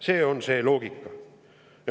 See on see loogika.